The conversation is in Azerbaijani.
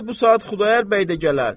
İndi bu saat Xudayar bəy də gələr.